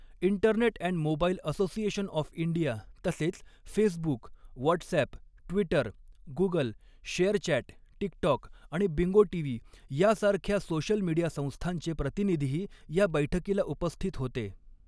Internet and mobile association of India तसेच Facebook, WhatsApp, Twitter, Google, share chat, TikTok आणि bingo TV यासारख्या social media संस्थांचे प्रतिनिधीही या बैठकीला उपस्थित होते.